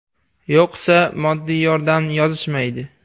– Yo‘qsa moddiy yordam yozishmaydi.